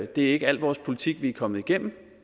det er ikke al vores politik vi er kommet igennem